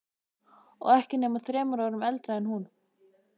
Og ekki nema þremur árum eldri en hún.